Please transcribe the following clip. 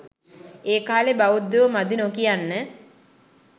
ඒකාලේ බෞද්ධයෝ මදි නොකියන්න